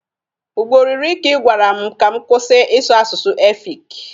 Ugboro iri ka ị gwara m ka m kwụsị ịsụ asụsụ efik.